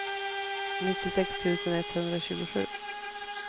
nittiosex tusen etthundratjugosju